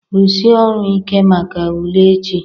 rụsie ọrụ ike maka ule echi